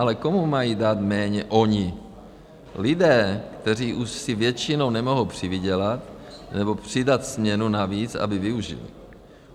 Ale komu mají dát méně oni lidé, kteří už si většinou nemohou přivydělat nebo přidat směnu navíc, aby vyžili?